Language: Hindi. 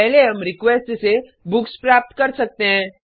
पहले हम रिक्वेस्ट से बुक्स प्राप्त कर सकते हैं